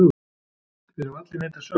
Þeir hafa allir neitað sök.